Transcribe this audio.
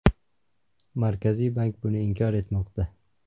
Markaziy bank buni inkor etmoqda.